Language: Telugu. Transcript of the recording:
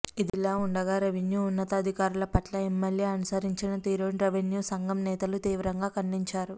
ఇదిలావుండగా రెవిన్యూ ఉన్నతాధికారుల పట్ల ఎమ్మెల్యే అనుసరించిన తీరును రెవిన్యూ సంఘం నేతలు తీవ్రంగా ఖండించారు